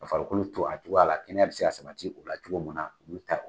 Ka farikolo to a cogo la, kɛnɛya bɛ se ka sabati u farikolo la cogo min na ulu ta ye o ye.